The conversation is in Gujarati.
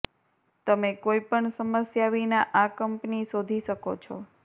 તમે કોઈપણ સમસ્યા વિના આ કંપની શોધી શકો છો